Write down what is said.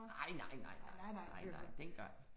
Nej, nej, nej, nej, nej nej dengang